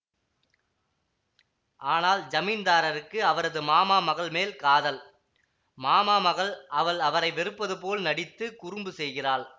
ஆனால் ஜமீன்தாருக்கு அவரது மாமா மகள் மேல் காதல் மாமா மகள் அவள் அவரை வெறுப்பது போல் நடித்து குறும்பு செய்கிறாள்